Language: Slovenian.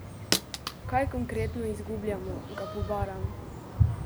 Kaj konkretno izgubljamo, ga pobaram?